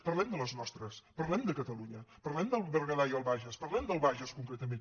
parlem de les nostres parlem de catalunya parlem del berguedà i el bages parlem del bages concretament